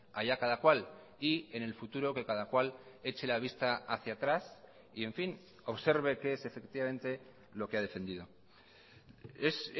allá cada cual y en el futuro que cada cual eche la vista hacia atrás y en fin observe qué es efectivamente lo que ha defendido es